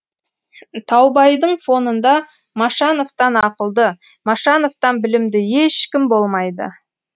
таубайдың фонында машановтан ақылды машановтан білімді ешкім болмайды